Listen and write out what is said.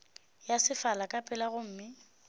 ya sefala ka pela gomme